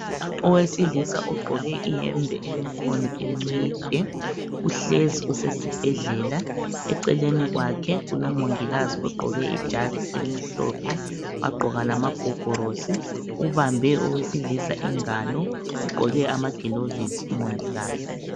Owesilisa ogqoke iyembe elemkhono emide uhlezi usesibhedlela eceleni kwakhe kulomongikazi ogqoke ijazi elimhlophe wagqoka lamagogorosi ubambe owesilisa ingalo ugqoke amagilovisi umongikazi.